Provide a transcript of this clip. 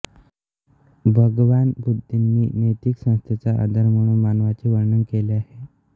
भगवान बुद्धंनी नैतिक संस्थेचा आधार म्हणून मानवाचे वर्णन केले आहे